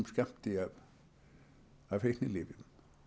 skammti af fíknilyfjum